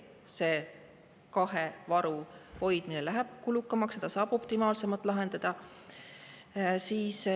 See kahe varu hoidmine läheb kulukamaks, seda saaks optimaalselt lahendada.